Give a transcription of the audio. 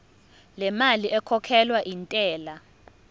lemali ekhokhelwa intela